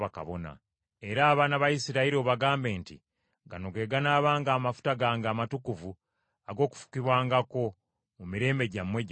Era abaana ba Isirayiri obagambe nti, ‘Gano ge ganaabanga amafuta gange amatukuvu ag’okufukibwangako, mu mirembe gyammwe gyonna.